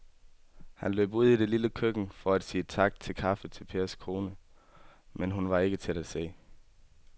Han løb ud i det lille køkken for at sige tak for kaffe til Pers kone, men hun var ikke til at se.